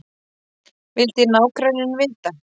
vildi nágranninn vita.